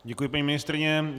Děkuji, paní ministryně.